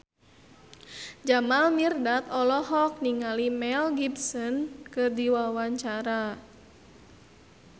Jamal Mirdad olohok ningali Mel Gibson keur diwawancara